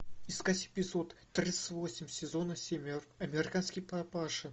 искать эпизод тридцать восемь сезона семь американский папаша